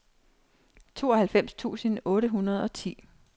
tooghalvfems tusind otte hundrede og ti